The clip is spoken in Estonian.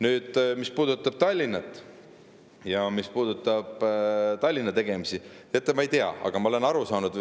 mis puudutab Tallinna ja Tallinna tegemisi.